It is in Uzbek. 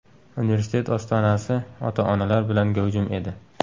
Universitet ostonasi ota-onalar bilan gavjum edi.